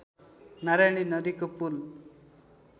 नारायणी नदीको पुल